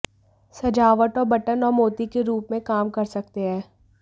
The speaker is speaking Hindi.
सजावट और बटन और मोती के रूप में काम कर सकते हैं